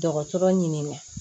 Dɔgɔtɔrɔ ɲinini